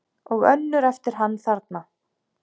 Og önnur eftir hann þarna